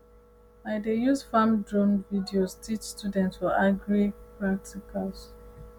i dey use farm drone videos teach students for agri practicals